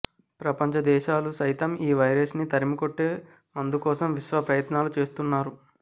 ప్రపంచదేశాలు సైతం ఈ వైరస్ ని తరిమికొట్టే మందు కోసం విశ్వప్రయత్నాలు చేస్తున్నారు